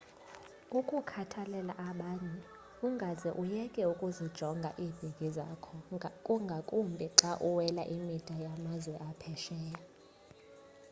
ukukhathalela abanye ungaze uyeke ukuzijonga iibhegi zakho ngakumbi xa uwela imida yamazwe aphesheya